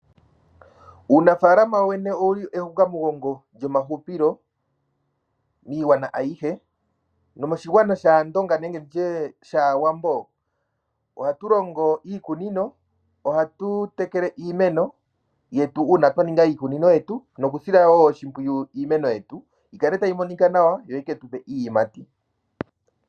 Uunafalama wo wene owu li ehukamugongo lyomahupilo miigwanawa ayihe nomoshigwana shAandonga nenge tu tye shAawambo ohatu longo iikunino, ohatu tekele iimeno yetu uuna twa ninga iikunino yetu nokusila wo oshimpwiyu iimeno yetu. Yi kale tayi monika nawa yo yi ke tu pe iiyimati.